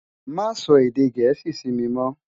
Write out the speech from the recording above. Má sò èdè Gẹẹsi si mi mò.